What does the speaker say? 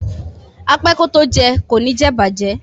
A pé kò to jẹun, ki jé ìbàjẹ́.